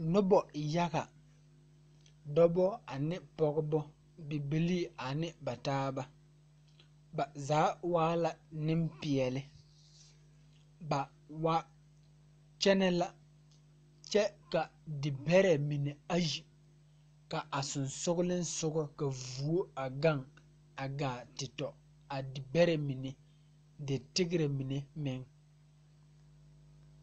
Nobɔ yaga dɔbɔ ane pɔgebɔ bibilii ane ba taaba ba zaa waa la neŋpeɛɛle ba wa kyɛnɛ la kyɛ ka dibɛrɛ mine ayi la a seŋsugliŋsugɔ ka vuo a gaŋ a gaa te tɔ a dibɛrɛ mine de tigrɛ mine.